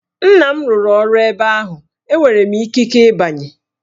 Nna m rụrụ ọrụ ebe ahụ, enwere m ikike ịbanye!